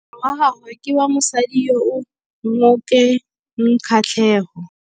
Moaparô wa gagwe ke wa mosadi yo o sa ngôkeng kgatlhegô.